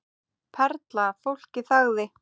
Perla Fólkið þagði.